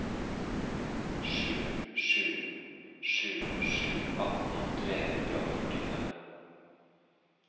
sju sju sju sju atten tre hundre og førtifem